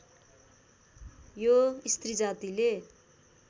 यो स्त्रीजातिले